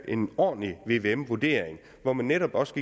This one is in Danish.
en ordentlig vvm vurdering hvor man netop også